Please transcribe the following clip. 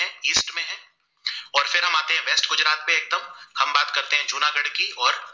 है जूनागढ़ की और